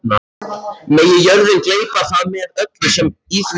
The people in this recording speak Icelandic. Megi jörðin gleypa það með öllu sem í því er!